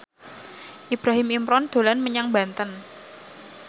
Ibrahim Imran dolan menyang Banten